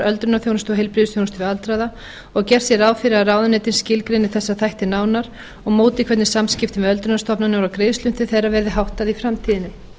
öldrunarþjónustu og heilbrigðisþjónustu við aldraða og að gert sé ráð fyrir að ráðuneytin skilgreini þessa þætti nánar og móti hvernig samskiptum við öldrunarstofnanir og greiðslum til þeirra verði háttað í framtíðinni